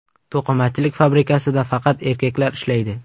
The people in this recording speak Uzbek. To‘qimachilik fabrikasida faqat erkaklar ishlaydi.